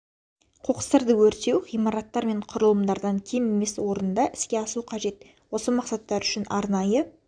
қоқыстарды өртеу ғимараттар мен құрылымдардан кем емес орында іске асу қажет осы мақсаттар үшін арнайы